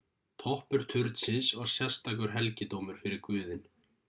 toppur turnsins var sérstakur helgidómur fyrir guðinn